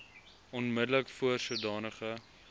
onmiddellik voor sodanige